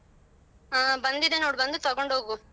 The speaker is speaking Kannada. ಹಾ ಬಂದಿದೆ ನೋಡು ಬಂದು ತಗೊಂಡು ಹೋಗು.